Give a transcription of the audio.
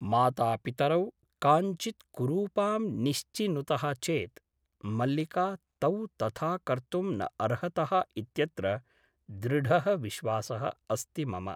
मातापितरौ काञ्चित् कुरूपां निश्चिनुतः चेत् मल्लिका तौ तथा कर्तुं न अर्हतः इत्यत्र दृढः विश्वासः अस्ति मम ।